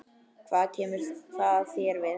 Hvað kemur það þér við?